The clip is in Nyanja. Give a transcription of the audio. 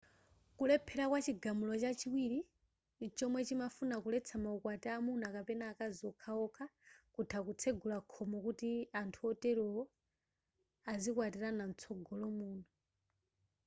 kulephera kwa chigamulo chachiwiri chomwe chimafuna kuletsa maukwati amuna kapena akazi okhaokha kutha kutsegula khomo kuti anthu oterowa azikwatirana mtsogolo muno